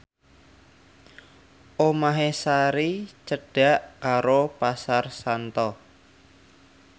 omahe Sari cedhak karo Pasar Santa